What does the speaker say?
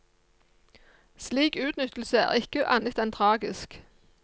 Slik utnyttelse er ikke annet enn tragisk.